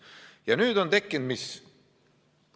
Mis nüüd on tekkinud?